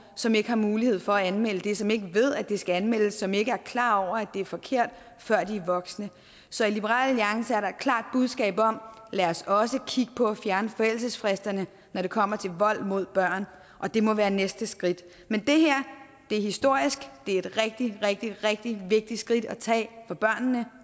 som ikke har mulighed for at anmelde det som ikke ved at det skal anmeldes som ikke er klar over at det er forkert før de er voksne så i liberal alliance er der et klart budskab om at lad os også kigge på at fjerne forældelsesfristerne når det kommer til vold mod børn og det må være næste skridt men det her er historisk det er et rigtig rigtig rigtig vigtigt skridt at tage for børnene